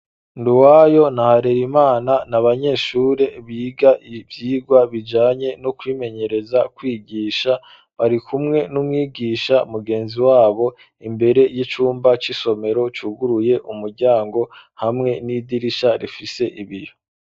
Nduwayo na Harerimana n'abanyeshure biga ivyigwa bijanye no kwimenyereza kwigisha bari kumwe n'umwigisha mugenzi wabo imbere y'icumba c'isomero cuguruye umuryango hamwe n'idirisha rifise ibiyo.